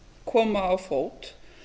koma á fót